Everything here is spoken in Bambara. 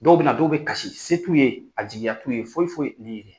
Dɔw bɛ na dɔw bɛ kasi se t'u ye a jigiya t'u ye foyi foyi